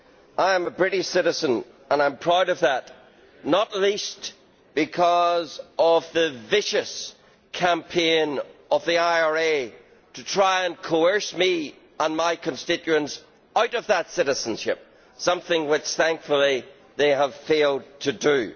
I am a British citizen and I am proud of that, not least because of the vicious campaign of the IRA to try and coerce me and my constituents out of that citizenship something which, thankfully, they have failed to do.